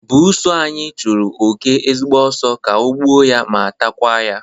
Buusu anyi chụrụ oke ezigbo ọsọ ka o gbuo ya ma takwa ya